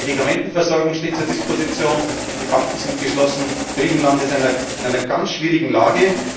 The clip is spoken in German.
Die Medikamentenversorgung steht zur Disposition, die Banken sind geschlossen, Griechenland ist in einer ganz schwierigen